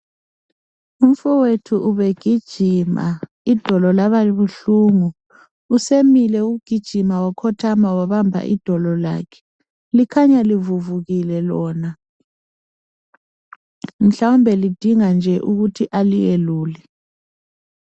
Umfowethu ubegijima idolo laba buhlungu usemile ukugijima wakhotha wabamba idolo lakhe likhanya livuvukile lona mhlawumbe lidinga nje ukuthi aliyelule.